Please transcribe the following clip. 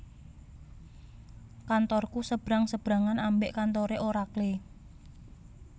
Kantorku sebrang sebrangan ambek kantore Oracle